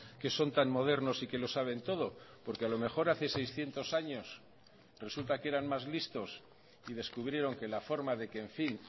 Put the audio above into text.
que son tan modernos y que lo saben todo porque a lo mejor hace seiscientos años resulta que eran más listos y descubrieron que la forma de que en fin